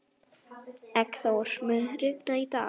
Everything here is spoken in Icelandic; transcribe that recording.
Eggþór, mun rigna í dag?